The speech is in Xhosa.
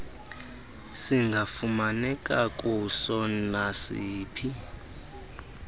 singafumaneka kuso nasiphi